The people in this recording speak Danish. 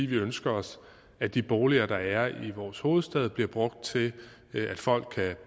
vi ønsker os at de boliger der er i vores hovedstad bliver brugt til at folk kan